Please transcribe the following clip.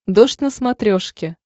дождь на смотрешке